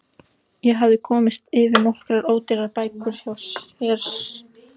Ég hafði komist yfir nokkrar ódýrar bækur hjá séra Sigurbirni